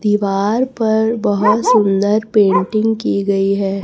दीवार पर बहोत सुंदर पेंटिंग की गई है।